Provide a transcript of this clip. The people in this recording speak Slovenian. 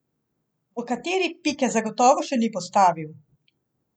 V kateri pike zagotovo še ni postavil.